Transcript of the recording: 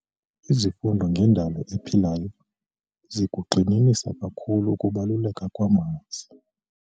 Izifundo ngendalo ephilayo zikugxininisa kakhulu ukubaluleka kwamanzi.